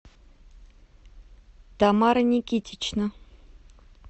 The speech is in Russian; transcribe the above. тамара никитична